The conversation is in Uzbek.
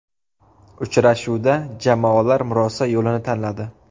Uchrashuvda jamoalar murosa yo‘lini tanladi.